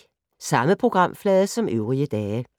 Samme programflade som øvrige dage